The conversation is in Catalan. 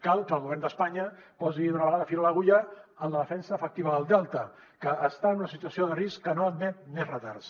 cal que el govern d’espanya posi d’una vegada fil a l’agulla en la defensa efectiva del delta que està en una situació de risc que no admet més retards